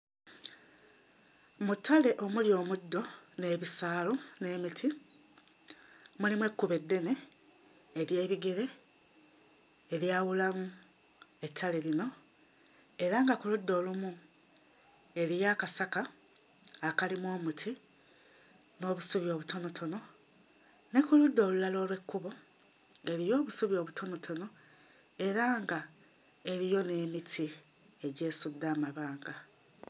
Mu ttale omuli omuddo n'ebisaalu n'emiti mulimu ekkubo eddene ery'ebigere eryawulamu ettale lino era nga kuludda olumu eriyo akasaka akalimu omuti n'obusubi obutonotono ne ku ludda olulala olw'ekkubo ng'eriyo obusubi obutonotono era nga eriyo n'emiti egyesudde amabanga.